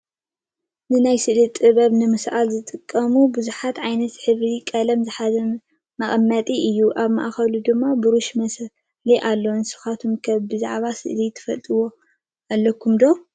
ንናይ ስእሊ ጥበባት ንምስኣል ዝጠቅም ብዙሓት ዓይነት ሕብረ ቀለማት ዝሓዘ መቐመጢ እዩ፡፡ ኣብ ማእኸሉ ድማ ብሩሽ መስኣሊ ኣሎ፡፡ ንስኻትኩም ከ ብዛዕባ ስእሊ ትፈልጥዎ ኣለኩም ዶ?